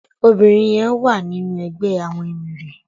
Óbirin yèn wá ninú ègbè àwòn éméré